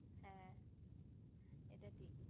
হে এটা ঠিক